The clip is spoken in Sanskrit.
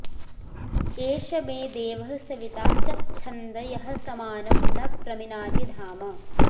एष मे देवः सविता चच्छन्द यः समानं न प्रमिनाति धाम